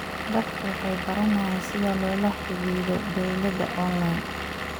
Dadku waxay baranayaan sida loola xidhiidho dawladda onlayn.